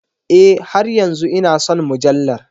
E, har yanzu ina son mujallar.